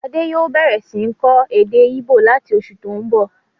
Adé yòó bẹ̀rẹ̀ sí ń kọ́ èdè íbò láti oṣù tó n bọ̀